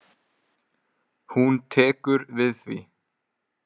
Hún tekur við því.